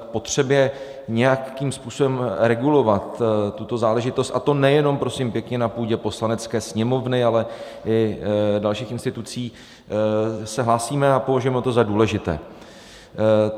K potřebě nějakým způsobem regulovat tuto záležitost, a to nejenom prosím pěkně na půdě Poslanecké sněmovny, ale i dalších institucí, se hlásíme a považujeme to za důležité.